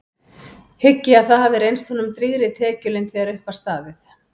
Hygg ég að það hafi reynst honum drýgri tekjulind þegar upp var staðið.